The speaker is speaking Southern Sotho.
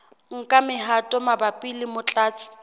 nka mehato mabapi le motlatsi